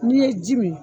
N'i ye ji mi